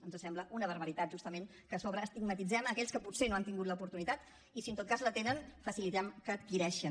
ens sembla una barbaritat justament que a sobre estigmatitzem aquells que potser no han tingut l’oportunitat i si en tot cas la tenen facilitem que adquireixin